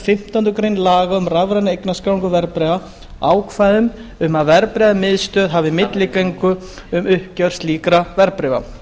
fimmtándu grein laga um rafræna eignarskráningu verðbréfa ákvæðum um að verðbréfamiðstöð hafi milligöngu um uppgjör slíkra verðbréfa